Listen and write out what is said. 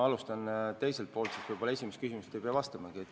Ma alustan tagantpoolt, siis võib-olla esimesele küsimusele ei pea vastamagi.